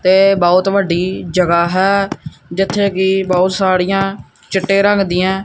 ਤੇ ਬਹੁਤ ਵੱਡੀ ਜਗ੍ਹਾ ਹੈ ਜਿੱਥੇ ਕਿ ਬਹੁਤ ਸਾੜੀਆਂ ਚਿੱਟੇ ਰੰਗ ਦੀਐਂ--